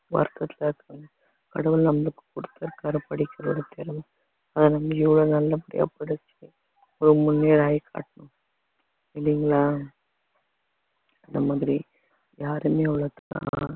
வருத்தத்துல இருக்காங்க கடவுள் நம்மளுக்கு கொடுத்திருக்காரு படிக்கிறது அதை நம்ம இவ்வளவு நல்லபடியா படிச்சு முன்னேறாகி காட்டணும் இல்லைங்களா அந்த மாதிரி யாரையுமே